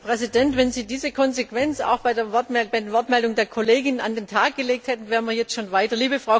Herr Präsident! Wenn Sie diese Konsequenz auch bei der Wortmeldung der Kollegin an den Tag gelegt hätten, wären wir jetzt schon weiter.